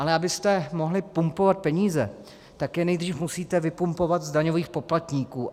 Ale abyste mohli pumpovat peníze, tak je nejdřív musíte vypumpovat z daňových poplatníků.